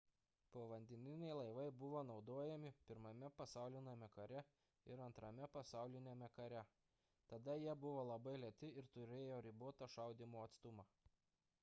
povandeniniai laivai buvo naudojami i pasauliniame kare ir ii pasauliniame kare tada jie buvo labai lėti ir turėjo ribotą šaudymo atstumą